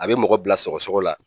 A bɛ mɔgɔ bila sɔgɔsɔgɔ la,